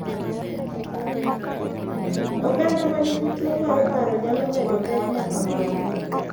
Oganda ma nigi tuwo mar paro nyalo medo pek ma kamago,